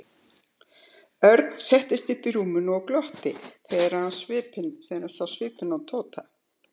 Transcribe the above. Örn settist upp í rúminu og glotti þegar hann sá svipinn á Tóta.